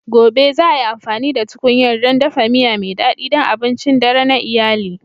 Gobe, za ai amfani da tkunyar don dafa miya mai daɗi don abincin dare na iyali.